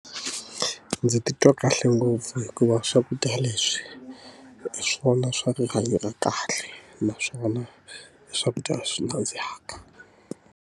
Ndzi titwa kahle ngopfu hikuva swakudya leswi, hi swona swa rihanyo ra kahle. Naswona i swakudya leswi nandzihaka.